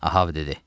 Ahav dedi.